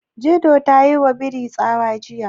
Dido ta yiwa birin tsawa jiya.